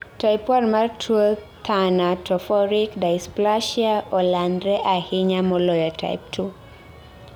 Type 1 mar tuo thanatophoric dysplasia olandre ahinya moloyo type 2